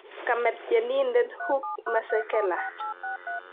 Kame Tyenindet Hugh Masekela